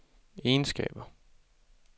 egenskaber